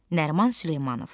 Nəriman Süleymanov.